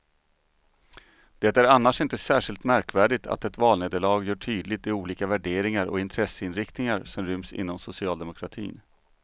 Det är annars inte särskilt märkvärdigt att ett valnederlag gör tydligt de olika värderingar och intresseinriktningar som ryms inom socialdemokratin.